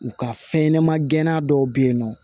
U ka fɛn ɲɛnama gɛnna dɔw be yen nɔ